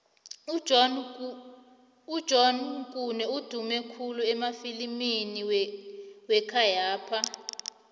ujohn kane udume khulu emafilimini wekhayapha